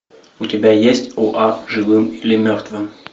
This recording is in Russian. у тебя есть доа живым или мертвым